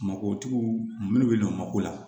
Mabɔtigiw minnu bɛ ɲɔnko la